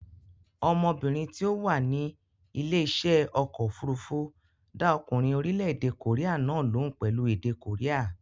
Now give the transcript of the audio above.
Ọmọbìnrin tí ó wà ní ilé iṣẹ́ ọkọ̀ òfurufú dá ọkùnrin orílẹ̀-èdè kòréà náà lóhùn pẹ̀lú èdè kòréà.